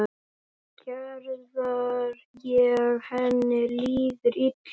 Gerðar þegar henni líður illa.